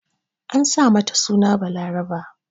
An sa mata suna Balaraba.